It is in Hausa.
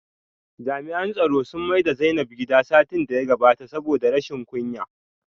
Jami'an tsaro sun maida Zainab gida satin da ya gabata saboda rashin kunya